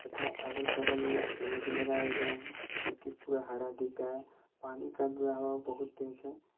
था अगल बगल में पेड़ भी लगाए गए हैं जो कि पूरा हरा दिख रहा है पानी का बहाव बहुत तेज है।